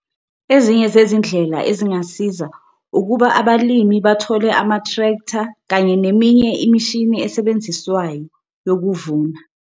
Ezinye zezindlela ezingasiza ukuba abalimi bathole ama-tractor kanye neminye imishini esebenziswayo yokuvuna.